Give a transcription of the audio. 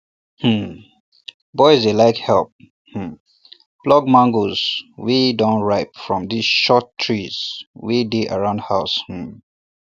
um boys dey like help um pluck mangoes wey don ripe from di short trees wey dey around house um